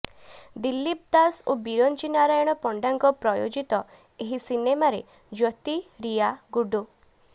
ଦିଲୀପ ଦାସ ଓ ବିରଞ୍ଚି ନାରାୟଣ ପଣ୍ଡାଙ୍କ ପ୍ରଯୋଜିତ ଏହି ସିନେମାରେ ଜ୍ୟୋତି ରୀୟା ଗୁଡୁ